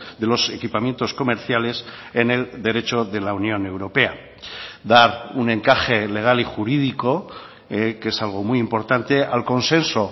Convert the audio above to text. de los equipamientos comerciales en el derecho de la unión europea dar un encaje legal y jurídico que es algo muy importante al consenso